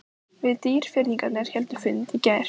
Við Dýrfirðingar héldum fund í gær.